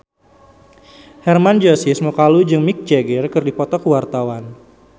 Hermann Josis Mokalu jeung Mick Jagger keur dipoto ku wartawan